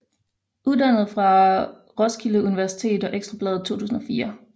Uddannet fra Roskilde Universitet og Ekstra Bladet 2004